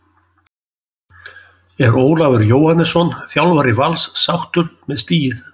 Er Ólafur Jóhannesson, þjálfari Vals, sáttur með stigið?